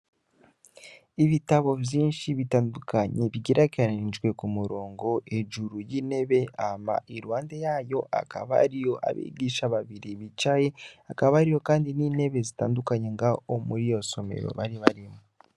Ibitabo vyinshi bitandukanye bigerekeranijwe kumurongo hejuru yintebe hama iruhande yayo hakaba hari abigisha babiri bicaye hakaba hariho nintebe zitandukanye ngaho muriyo somero bari barimwo